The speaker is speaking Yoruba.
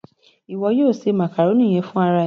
Iwọ yóò se màkàrónì yẹn fún ara ẹ.